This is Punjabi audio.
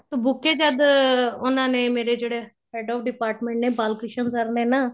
buke ਜਦ ਉਹਨਾ ਨੇ ਮੇਰੇ ਜਿਹੜੇ head of department ਨੇ ਬਾਲ ਕ੍ਰਿਸ਼ਨ sir ਨੇ ਨਾ